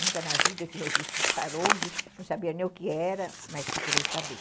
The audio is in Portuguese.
Nunca na vida eu tinha visto um sarong, não sabia nem o que era, mas procurei saber.